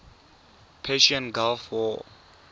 persian gulf war